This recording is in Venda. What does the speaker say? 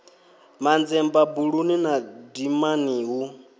manzemba buluni na dimani hu